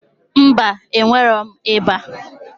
Mba, enwerọm ịba